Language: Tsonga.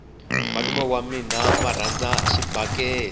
malume wa mina va rhandza xibakele